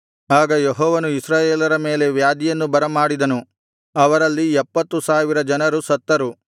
ಆಗ ಯೆಹೋವನು ಇಸ್ರಾಯೇಲರ ಮೇಲೆ ವ್ಯಾಧಿಯನ್ನು ಬರಮಾಡಿದನು ಅವರಲ್ಲಿ ಎಪ್ಪತ್ತು ಸಾವಿರ ಜನರು ಸತ್ತರು